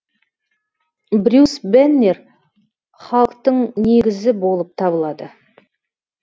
брюс беннер халықтың негізі болып табылады